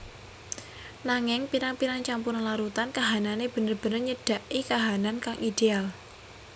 Nanging pirang pirang campuran larutan kahanane bener bener nyedaki kahanan kang ideal